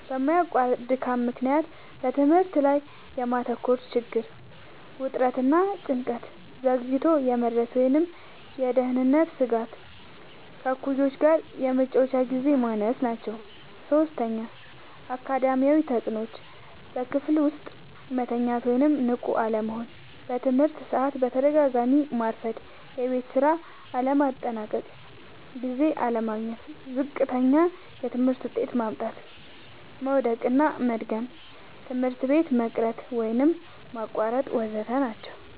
በማያቋርጥ ድካም ምክንያት በትምህርት ላይ የማተኮር ችግር፣ ውጥረት እና ጭንቀት፣ ዘግይቶ የመድረስ ወይም የደህንነት ስጋት፣ ከእኩዮች ጋር የመጫወቻ ግዜ ማነስ ናቸዉ። ፫. አካዳሚያዊ ተጽዕኖዎች፦ · በክፍል ውስጥ መተኛት ወይም ንቁ አለመሆን፣ በትምህርት ሰዓት በተደጋጋሚ ማርፈድ፣ የቤት ስራ ለማጠናቀቅ ጊዜ አለማግኘት፣ ዝቅተኛ የትምህርት ውጤት ማምጣት፣ መዉደቅና መድገም፣ ትምህርት ቤት መቅረት ወይም ማቋረጥ ወ.ዘ.ተ ናቸዉ።